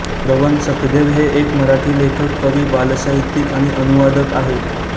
प्रणव सखदेव हे एक मराठी लेखक कवी बालसाहित्यिक आणि अनुवादक आहेत